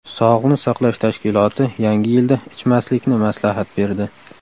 Sog‘liqni saqlash tashkiloti Yangi yilda ichmaslikni maslahat berdi.